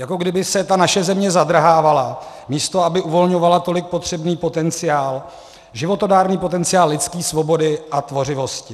Jako kdyby se ta naše země zadrhávala, místo aby uvolňovala tolik potřebný potenciál, životodárný potenciál lidské svobody a tvořivosti.